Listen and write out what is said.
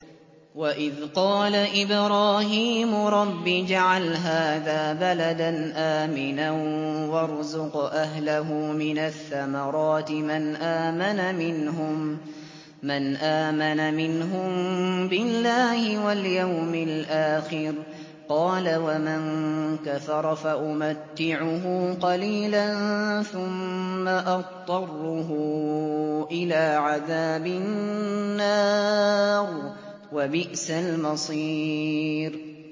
وَإِذْ قَالَ إِبْرَاهِيمُ رَبِّ اجْعَلْ هَٰذَا بَلَدًا آمِنًا وَارْزُقْ أَهْلَهُ مِنَ الثَّمَرَاتِ مَنْ آمَنَ مِنْهُم بِاللَّهِ وَالْيَوْمِ الْآخِرِ ۖ قَالَ وَمَن كَفَرَ فَأُمَتِّعُهُ قَلِيلًا ثُمَّ أَضْطَرُّهُ إِلَىٰ عَذَابِ النَّارِ ۖ وَبِئْسَ الْمَصِيرُ